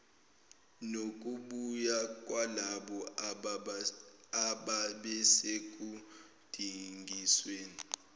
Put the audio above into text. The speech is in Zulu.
nokubuya kwalabo ababesekudingisweni